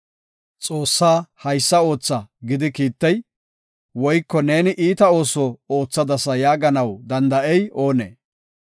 Xoossaa, ‘Haysa ootha’ gidi kiittey, woyko, ‘Neeni iita ooso oothadasa’ yaaganaw danda7ey oonee?